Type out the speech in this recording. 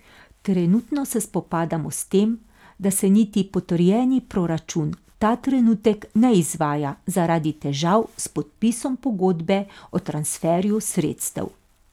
Trenutno se spopadamo s tem, da se niti potrjeni proračun ta trenutek ne izvaja zaradi težav s podpisom pogodbe o transferju sredstev.